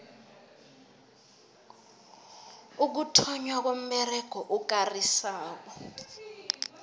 ukuthonnywa komberego okarisako